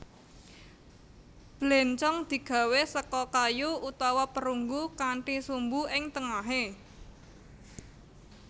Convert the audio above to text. Bléncong digawé seka kayu utawa perunggu kanthi sumbu ing tengahé